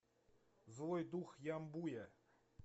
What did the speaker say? злой дух ямбуя